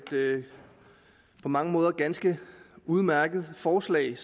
på mange måder ganske udmærket forslag